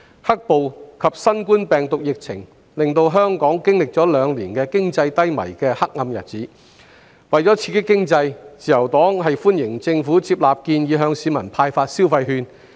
"黑暴"及新冠病毒疫情令香港經歷了兩年經濟低迷的黑暗日子，為了刺激經濟，自由黨歡迎政府接納建議向市民派發消費券。